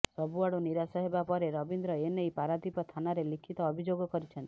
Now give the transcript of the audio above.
ସବୁଆଡୁ ନିରାଶ ହେବା ପରେ ରବୀନ୍ଦ୍ର ଏନେଇ ପାରାଦୀପ ଥାନାରେ ଲିଖିତ ଅଭିଯୋଗ କରିଛନ୍ତି